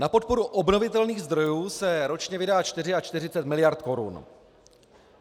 Na podporu obnovitelných zdrojů se ročně vydá 44 miliard korun.